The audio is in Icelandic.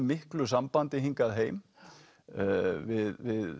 miklu sambandi hingað heim við